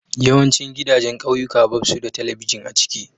Yawancin gidajen kauyuka babsu da telibijin a ciki.